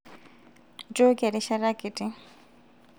njooki erishata kitii